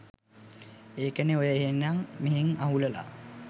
ඒකනේ ඔය එහෙං මෙහෙං අහුලලා